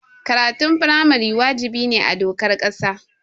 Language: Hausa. Karatun firamare wajibi ne a dokar ƙasa.